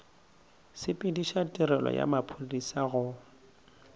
sepediša tirelo ya maphodisa go